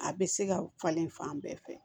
A bɛ se ka falen fan bɛɛ fɛ